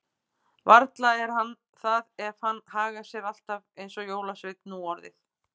Varla er hann það ef hann hagar sér alltaf eins og jólasveinn nú orðið.